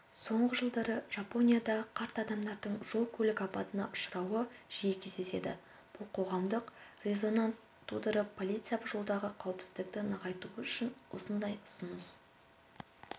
соңғы жылдары жапонияда қарт адамардың жол-көлік апатына ұшырауы жиі кездеседі бұл қоғамдық резонанс тудырып полиция жолдағы қауіпсіздікті нығайтуы үшін осындай ұсыныс